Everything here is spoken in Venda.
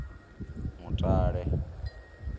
mutale